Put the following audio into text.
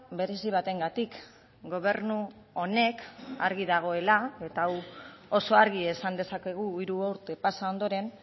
berezi batengatik gobernu honek argi dagoela eta hau oso argi esan dezakegu hiru urte pasa ondoren